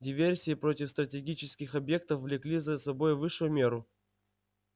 диверсии против стратегических объектов влекли за собой высшую меру